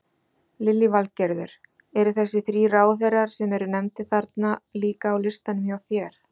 Lillý Valgerður: Eru þessir þrír ráðherrar sem eru nefndir þarna líka á listanum hjá þér?